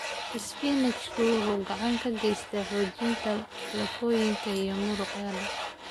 Isbaanishku wuxuu gacan ka geysataa xoojinta lafooyinka iyo muruqyada.